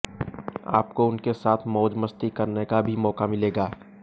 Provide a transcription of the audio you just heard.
आपको उनके साथ मौज मस्ती करने का भी मौका मिलेगा